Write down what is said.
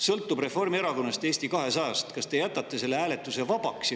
Sõltub Reformierakonnast ja Eesti 200‑st, kas te jätate selle hääletuse vabaks.